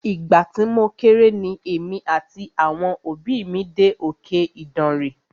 Ìgbà tí mo kéré ni èmi àti àwọn òbí mí dé òkè Ìdànre.